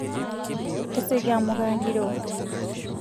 tasioki amuu kaagiro